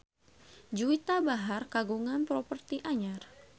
Juwita Bahar kagungan properti anyar